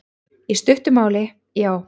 Í stuttu máli, já.